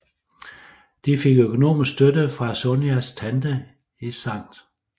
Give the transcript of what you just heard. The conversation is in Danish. De fik økonomisk støtte fra Sonias tante i Skt